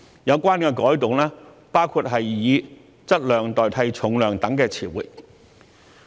有關改動包括以"質量"代替"重量"等詞彙。